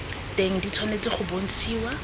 teng di tshwanetse go bontshiwa